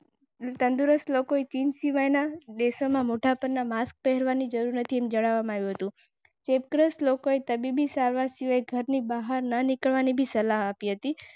વિશ્વના વિવિધ આરોગ્ય સંગઠનોને રોશનને ચેપ વધુ ફેલાતો અટકાવવા માટેની પદ્ધતિ જાહેર કરી તી. કાળજી તેથી તંદુરસ્ત લોકોએ વિશ્વનાથ.